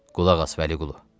Qulaq as Vəliqulu.